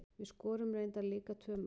Við skorum reyndar líka tvö mörk.